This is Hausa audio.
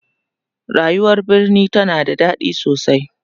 rayuwar birni tana da daɗi sosai